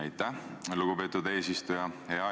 Aitäh, lugupeetud eesistuja!